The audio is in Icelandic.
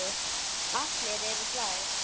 Allir eru glaðir.